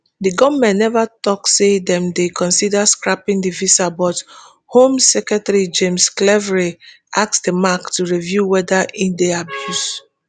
di goment neva tok say dem dey consider scrapping di visa but home secretary james cleverly ask di mac to review weda e dey abuse